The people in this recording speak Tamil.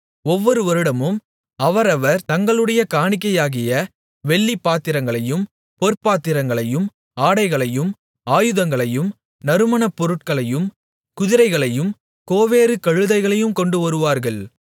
ஒவ்வொரு வருடமும் அவரவர் தங்களுடைய காணிக்கையாகிய வெள்ளிப்பாத்திரங்களையும் பொற்பாத்திரங்களையும் ஆடைகளையும் ஆயுதங்களையும் நறுமணப்பொருட்களையும் குதிரைகளையும் கோவேறு கழுதைகளையும் கொண்டுவருவார்கள்